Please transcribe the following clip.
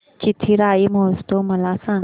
चिथिराई महोत्सव मला सांग